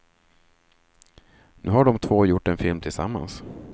Nu har de två gjort en film tillsammans.